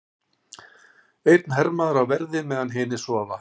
Einn hermaður á verði meðan hinir sofa.